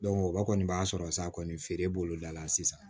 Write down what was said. o kɔni b'a sɔrɔ sa kɔni feere b'olu dala sisan